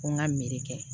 Ko n ka mere kɛ